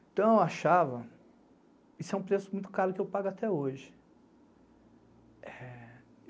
Então, eu achava, isso é um preço muito caro que eu pago até hoje.